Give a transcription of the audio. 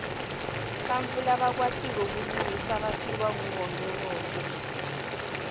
bantfu labakwatiko kulingisa batiwa nguwonkhewonkhe